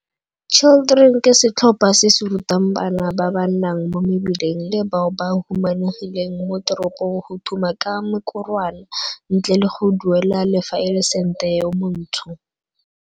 Children ke setlhopha se se rutang bana ba ba nnang mo mebileng le bao ba humanegileng mo teropong go thuma ka mekorwana ntle le go duela le fa e le sente yo montsho.